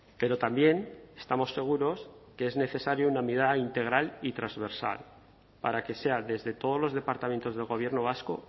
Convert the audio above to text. pero también estamos seguros que es necesario una mirada integral y transversal para que sea desde todos los departamentos del gobierno vasco